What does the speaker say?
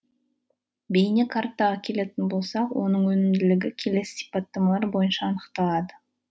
бейне картаға келетін болсақ оның өнімділігі келесі сиппатамалар бойынша анықталады